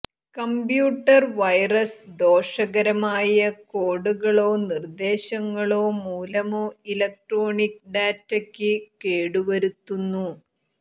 computer virus ദോഷകരമായ കോഡുകളോ നിർദ്ദേശങ്ങളോ മൂലമോ ഇലക്ട്രോണിക് ഡാറ്റയ്ക്ക് കേടുവരുത്തുന്നു